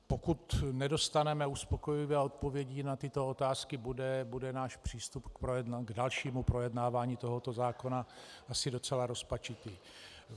Pokud nedostaneme uspokojivé odpovědi na tyto otázky, bude náš přístup k dalšímu projednávání tohoto zákona asi docela rozpačitý.